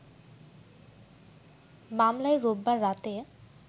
মামলায় রোববার রাতে